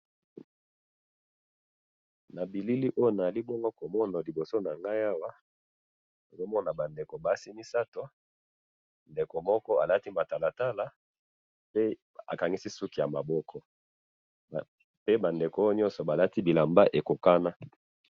nabilili oyo nazali bongo komona awa lboso na ngayi awa nazomona ba ndeko ya basi misatu ndeko moko alati matalatala pe bakangisi ba suki bango nyoso pe balati bilamba ekokana.